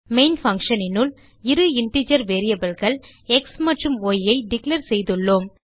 main functionனுள் இரு integer variableகள் எக்ஸ் மற்றும் yஐ டிக்ளேர் செய்துள்ளோம்